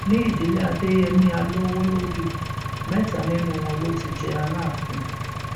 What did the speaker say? ní ìdílé adéyẹmi alowolódù mẹta nínú wọn ló ti jẹ aláàfin